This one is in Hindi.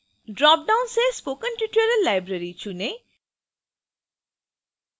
dropdown से spoken tutorial library चुनें